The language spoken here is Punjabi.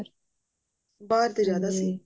ਬਾਹਰ ਦੇ ਜਿਆਦਾ ਸੀ